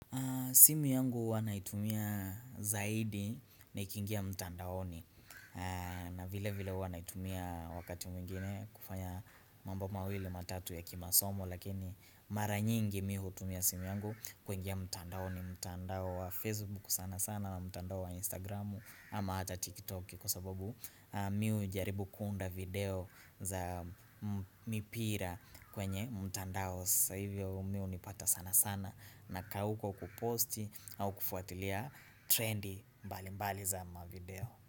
Simu yangu huwa naitumia zaidi nikiingia mtandaoni na vile vile huwa naitumia wakati mwingine kufanya mambo mawili matatu ya kimasomo lakini mara nyingi mi huutumia simu yangu kuingia mtandaoni mtandao wa facebook sana sana na mtandao wa instagramu ama hata tiktok kwa sababu mi hujaribu kunda video za mipira kwenye mtandao sasa hivyo mi hunipata sana sana nakaa huko kuposti au kufuatilia trendi mbali mbali za mavideo.